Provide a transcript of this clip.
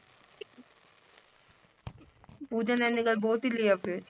ਪੂਜਾ ਨੇ ਏਨੀ ਗੱਲ ਬੋਲਦੀ ਲੈ ਆ ਫਿਰ